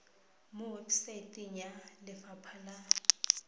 mo websaeteng ya lefapha la